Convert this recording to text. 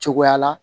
Cogoya la